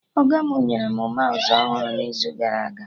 Ọga mụ nyere mụ maụsụ ọhụrụ n'izu gara aga